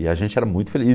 E a gente era muito